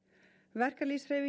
verkalýðshreyfingin